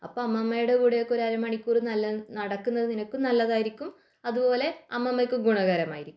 അപ്പൊ അമ്മമ്മയുടെ കൂടെ ഒരു അരമണിക്കൂർ നടക്കുന്നത് നിനക്കും നല്ലതായിരിക്കും അതുപോലെ അമ്മമ്മക്കും ഗുണകരമായിരിക്കും